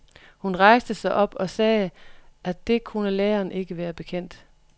Hun rejste sig op og sagde, at det kunne læreren ikke være bekendt.